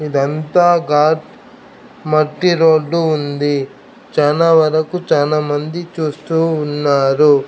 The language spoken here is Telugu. ఇదంతా గాట్ మట్టిరోడ్డు ఉంది చానా వరకు చానా మంది చూస్తూ ఉన్నారు.